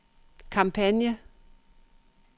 kampagne